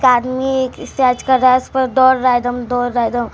car में exercise कर रहा है उस पर दोड़ रहा है दम दौड़ रहा है दम --